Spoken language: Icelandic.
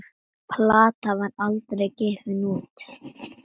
Platan var aldrei gefin út.